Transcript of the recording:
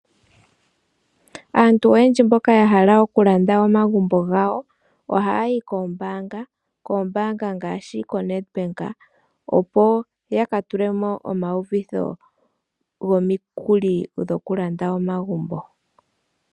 Aantu oyendji mboka yahala okulanda omagumbo gawo ohayayi koombaanga, koombaanga ngaashi koNedbank opo yakatulemo omawuvitho gomikuli dhokulanda omagumbo.